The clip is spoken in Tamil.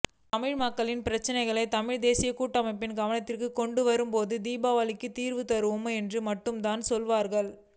தமிழ் மக்களின் பிரச்சினைகளை தமிழ் தேசியக் கூட்டமைப்பின் கவனத்திற்கு கொண்டுவரும்போது தீபாவளிக்கு தீர்வு தருவோம் என்று மட்டும்தான் சொல்லுவார்கள்